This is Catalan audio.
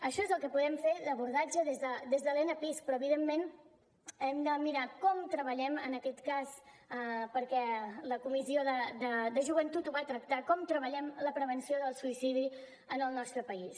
això és el que podem fer d’abordatge des de l’enapisc però evidentment hem de mirar com treballem en aquest cas perquè la comissió de joventut ho va tractar la prevenció del suïcidi en el nostre país